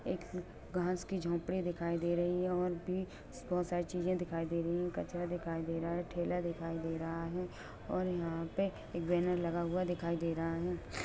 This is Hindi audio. एक अ-घास की झोपड़ी दिखाई दे रही है और भी ब-बहुत सारी चीजे दिखाई दे रही है कचरा दिखाई दे रहा है ठेला दिखाई दे रहा है और यहां पे एक बैनर लगा हुआ दिखाई दे रहा है।